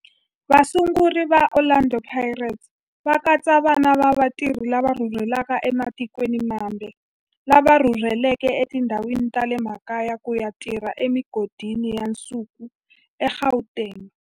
Vasunguri va Orlando Pirates va katsa vana va vatirhi lava rhurhelaka ematikweni mambe lava rhurheleke etindhawini ta le makaya ku ya tirha emigodini ya nsuku eGauteng.